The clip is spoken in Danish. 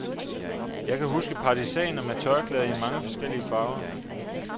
Jeg kan huske partisaner med tørklæder i mange forskellige farver.